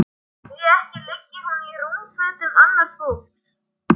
Því ekki liggi hún í rúmfötum annars fólks.